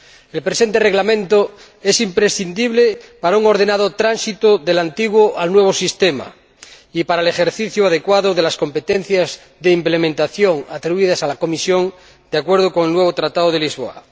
El presente Reglamento es imprescindible para un tránsito ordenado del antiguo al nuevo sistema y para el ejercicio adecuado de las competencias de ejecución atribuidas a la Comisión, de acuerdo con el nuevo Tratado de Lisboa.